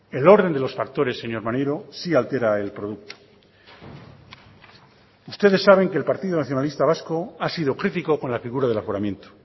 el orden de los factores señor maneiro sí altera el producto ustedes saben que el partido nacionalista vasco ha sido crítico con la figura del aforamiento